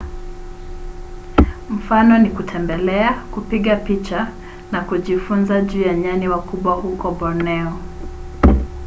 mfano ni kutembelea kupiga picha na kujifunza juu ya nyani wakubwa huko borneo